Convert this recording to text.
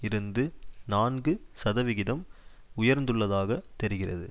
இருந்து நான்கு சதவிகிதம் உயர்ந்துள்ளதாக தெரிகிறது